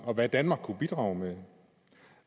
og hvad danmark kunne bidrage med